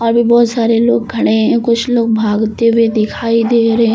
अभी बहुत सारे लोग खड़े हैं कुछ लोग भागते हुए दिखाई दे रहे हैं।